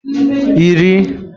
iri